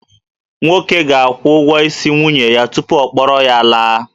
Nwoke ga-akwụ ụgwọ isi nwunye ya tupu ọ kpọrọ ya laa